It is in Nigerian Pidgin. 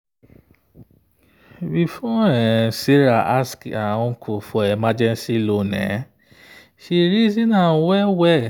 before sarah ask her uncle for emergency loan she reason am well.